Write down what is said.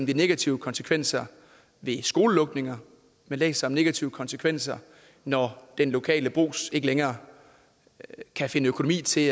de negative konsekvenser ved skolelukninger man læser negative konsekvenser når den lokale brugs ikke længere kan finde økonomi til